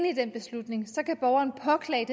i den beslutning kan borgeren påklage